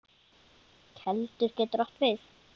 Keldur getur átt við